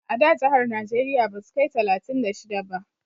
A da jahar najeriya basu kai talatin da shida ba